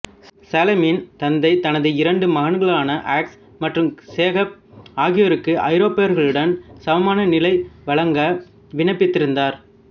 சலீமின் தந்தை தனது இரண்டு மகன்களான அகஸ் மற்றும் சேக்கப் ஆகியோருக்கு ஐரோப்பியர்களுடன் சமமான நிலை வழங்க விண்ணப்பித்திருந்தார்